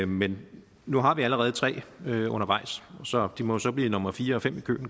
men nu har vi allerede tre undervejs så det må jo så blive nummer fire og fem